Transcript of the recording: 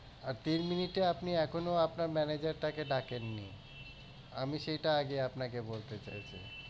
আর তিন minute এ আপনি এখনো আপনার manager টাকে ডাকেননি আমি সেটা আগে আপনাকে বলতে চাইছি